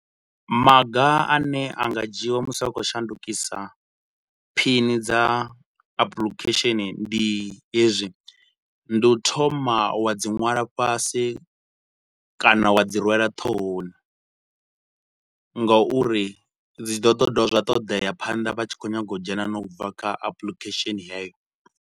Maga ane a nga dzhiiwa musi a khou shandukisa phini dza apulikhesheni ndi hezwi, ndi u thoma wa dzi nwala fhasi kana wa dzi rwela ṱhohoni nga uri dzi ḓo ḓo dovha zwa todea phanḓa vha tshi khou nyaga u dzhena na u bva kha apulikhesheni heyo.